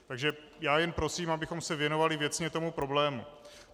Takže já jen prosím, abychom se věnovali věcně tomu problému.